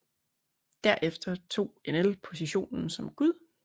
Derefter tog Enel positionen som gud